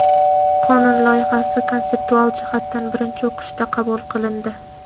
qonun loyihasi konseptual jihatdan birinchi o‘qishda qabul qilindi.